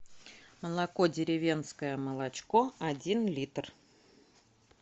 молоко деревенское молочко один литр